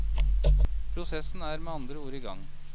Prosessen er med andre ord i gang.